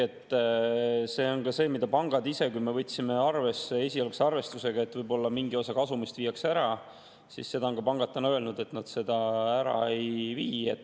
Siin on ka see, mida pangad ise on nüüd öelnud – meie esialgne arvestus oli, et võib-olla mingi osa kasumist viiakse ära –, et nad ära ei vii.